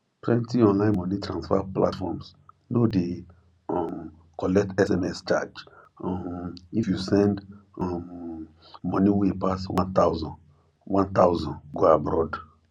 plenty online money transfer platforms no dey um collect sms charge um if you send um money wey pass 1000 1000 go abroad